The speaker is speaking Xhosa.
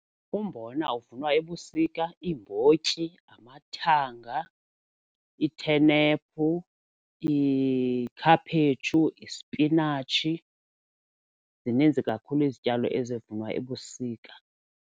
Umbona uvunwa ebusika, iimbotyi namathanga, iithenephu, iikhaphetshu, ispinatshi. Zininzi kakhulu izityalo ezivunwa ebusika.